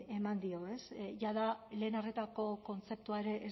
eman dio ez jada lehen arretako kontzeptua ere